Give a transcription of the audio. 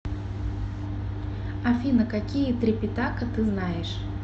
афина какие трипитака ты знаешь